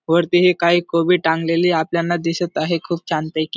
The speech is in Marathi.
वरती हे काही कोबी टांगलेले आपल्याना दिसत आहे खूप छान पैकी --